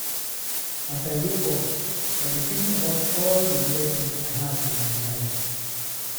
As I wake up, I dey think about all the blessings I have in my life.